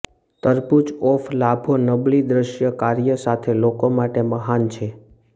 તરબૂચ ઓફ લાભો નબળી દ્રશ્ય કાર્ય સાથે લોકો માટે મહાન છે